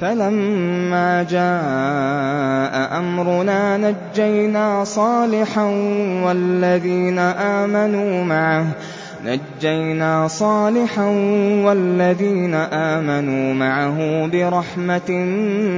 فَلَمَّا جَاءَ أَمْرُنَا نَجَّيْنَا صَالِحًا وَالَّذِينَ آمَنُوا مَعَهُ بِرَحْمَةٍ